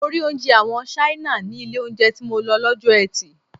Mo rí oúnjẹ àwọn Ṣáínà ní ilé oúnjẹ tí mo lọ lọ́jọ́ eti.